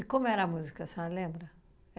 como era a música, a senhora lembra?